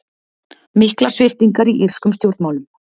Miklar sviptingar í írskum stjórnmálum